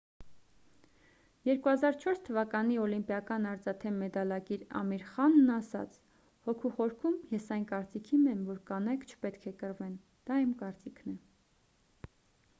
2004 թվականի օլիմպիական արծաթե մեդալակիր ամիր խանն ասաց հոգուս խորքում ես այն կարծիքին եմ որ կանայք չպետք է կռվեն դա իմ կարծիքն է